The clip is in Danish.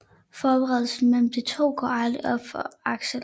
Forbindelsen mellem de to går aldrig op for Axel